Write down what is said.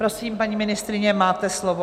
Prosím, paní ministryně, máte slovo.